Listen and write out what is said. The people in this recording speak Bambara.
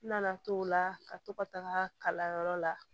N nana to o la ka to ka taga kalanyɔrɔ la